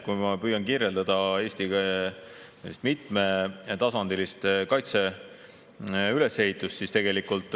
Ma püüan kirjeldada Eesti mitmetasandilist kaitse ülesehitust.